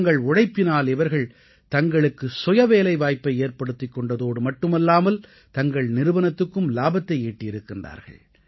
தங்கள் உழைப்பினால் இவர்கள் தங்களுக்கு சுயவேலைவாய்ப்பை ஏற்படுத்திக் கொண்டதோடு மட்டுமல்லாமல் தங்கள் நிறுவனத்துக்கும் இலாபத்தை ஈட்டியிருக்கிறார்கள்